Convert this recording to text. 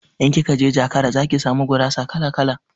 In kikaje jakara zaki samu gurasa kala-kala